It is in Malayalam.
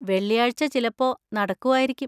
വെള്ളിയാഴ്ച ചിലപ്പോ നടക്കുവായിരിക്കും.